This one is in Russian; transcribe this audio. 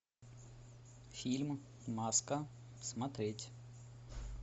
фильм маска смотреть